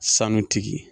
Sanutigi